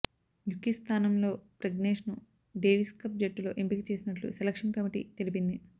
యుకి స్థానంలో ప్రజ్నేష్ను డేవిస్కప్ జట్టులో ఎంపికచేసినట్లు సెలక్షన్ కమిటీ తెలిపింది